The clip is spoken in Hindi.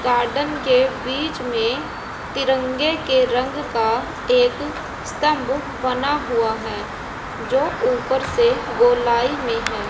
गार्डन के बीच में तिरंगे के रंग का एक स्तंभ बना हुआ है जो ऊपर से गोलाई में है।